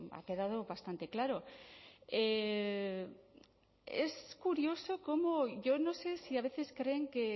ha quedado bastante claro es curioso como yo no sé si a veces creen que